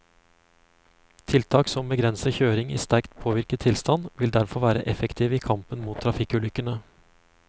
Tiltak som begrenser kjøring i sterkt påvirket tilstand, vil derfor være effektive i kampen mot trafikkulykkene.